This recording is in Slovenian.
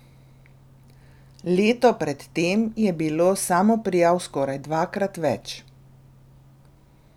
Leto pred tem je bilo samoprijav skoraj dvakrat več.